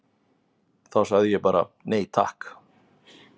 Þá sagði ég bara: Nei takk!